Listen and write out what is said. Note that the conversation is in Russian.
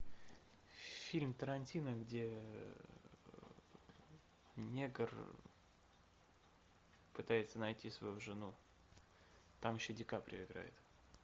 фильм тарантино где негр пытается найти свою жену там еще ди каприо играет